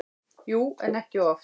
Jú, en ekki oft.